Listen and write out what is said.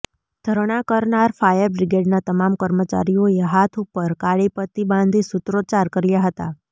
ઘરણા કરનાર ફાયર બ્રીગેડના તમામ કર્મચારીઓએ હાથ ઉપર કાળી પટ્ટી બાંધી સૂત્રોચ્ચાર કર્યાં હતા